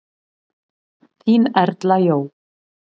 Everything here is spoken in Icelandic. Þín Erla Jó.